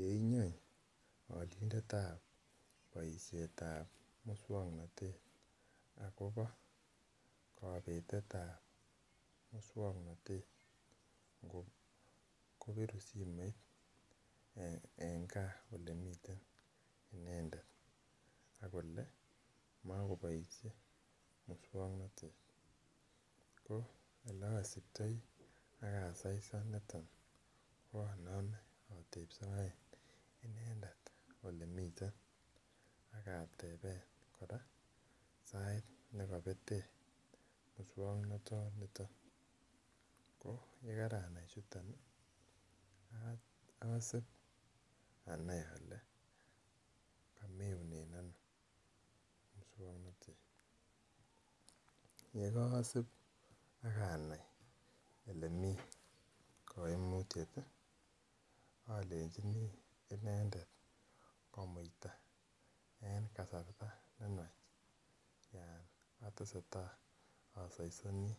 Yeinyony olindetab boishetab muswoknotet akobo kopeteta muswoknotet kopirun simoit en gaa olemiten inendet akole mokoboishe muswoknotet ko ole osiptoi ak asaisan niton ko onome itepsoen inendet olemiten akatepen koraa sait nekopeten muswoknoton niton ko yekaranai chuton osib anai ole komeunen ono muswoknotet yekosib akanai olemii koimutyet olenjinii inendet komuita en kasarta nenywach yon otesetai osoisoni